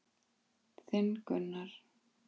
Þinn Gunnar.